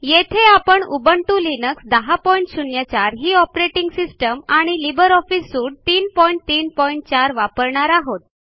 येथे आपण Ubuntu Linux 1004 ही ऑपरेटिंग सिस्टम आणि लिब्रे ऑफिस सूट 334 वापरणार आहोत